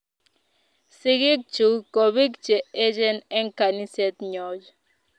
Sigig chuk kobiik che echen eng kaniset nyojn